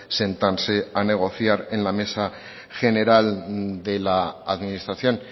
sentarse a negociar en la mesa general de la administración